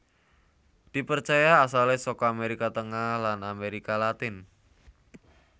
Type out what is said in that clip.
Dipercaya asalé saka Amérika Tengah lan Amérika Latin